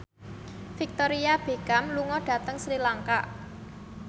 Victoria Beckham lunga dhateng Sri Lanka